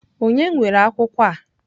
Ònye nwere akwụkwọ a?